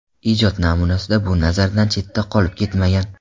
Ijod namunasida bu nazardan chetda qolib ketmagan.